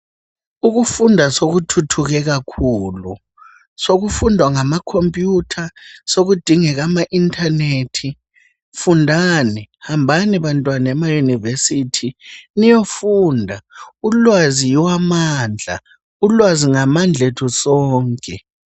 Ukufunda sokuthuthuke ,sokufundela ngamakhompuyutha sokudingeka ama internet. Fundani hambani bantwana emayunivesithi ulwazi yiwo mandla ulwazi ngamandla ethu sonke.